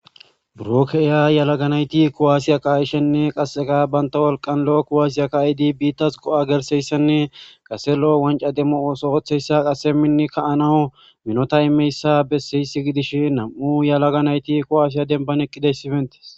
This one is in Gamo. Buro keeya yalaganayti kowaasiya kaashenne qasseqa banta wolqan lo7o kowaasiya kaaydi biittas qo7a gerseyssenne qase lo7o wanca demmo oso ootheyssa qase minni ka7anawu minota imeyssa besseysi gidish nam7u yalaga nayti kowaasiya denban eqqideys sifentes.